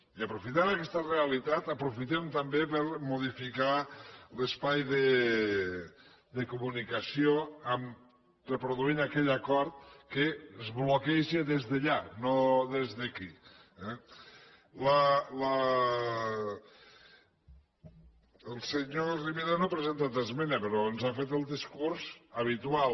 i aprofitant aquesta realitat aprofitem també per modificar l’espai de comunicació amb reproduint aquell acord que es bloqueja des d’allà no des d’aquí eh el senyor rivera no hi ha presentat esmena però ens ha fet el discurs habitual